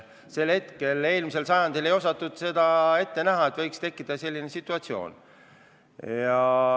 Tol ajal, eelmisel sajandil, ei osatud ette näha, et võiks tekkida selline situatsioon.